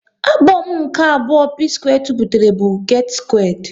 Abom nke abụọ P-square tiputere bụ "Get Squared"